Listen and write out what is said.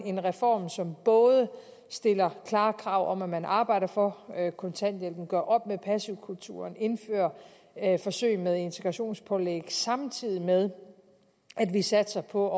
en reform som både stiller klare krav om at man arbejder for kontanthjælpen og gør op med passivkulturen og indfører forsøg med integrationspålæg samtidig med at vi satser på